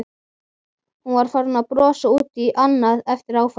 Hún var farin að brosa út í annað eftir áfallið.